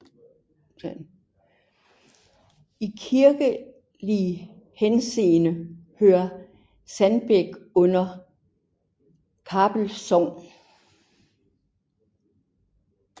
I kirkelig henseende hører Sandbæk under Kappel Sogn